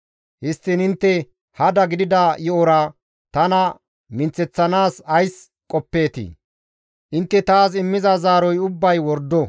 «Histtiin intte hada gidida yo7ora tana minththeththanaas ays qoppeetii? Intte taas immiza zaaroti ubbay wordo.»